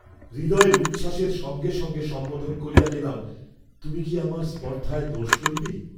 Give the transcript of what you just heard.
হৃদয়ের উচ্ছ্বাসের সঙ্গে সঙ্গে সম্বোধন করিয়া গেলাম, তুমি কি আমার স্পর্দ্ধায় দোষ লইবে?